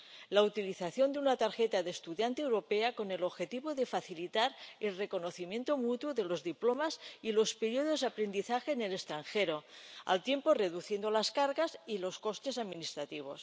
la utilización de una tarjeta de estudiante europea con el objetivo de facilitar el reconocimiento mutuo de los diplomas y los períodos aprendizaje en el extranjero, al tiempo, reduciendo las cargas y los costes administrativos.